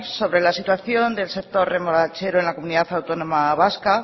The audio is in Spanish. sobre la situación del sector remolachero en la comunidad autónoma vasca